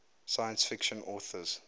science fiction authors